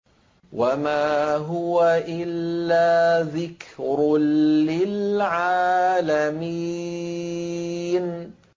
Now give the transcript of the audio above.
وَمَا هُوَ إِلَّا ذِكْرٌ لِّلْعَالَمِينَ